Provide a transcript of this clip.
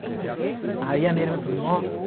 Aí a minha irmã falou, nossa.